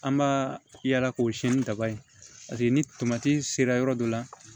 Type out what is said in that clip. An b'a yaala k'o siyɛn ni taba ye paseke ni tomati sera yɔrɔ dɔ la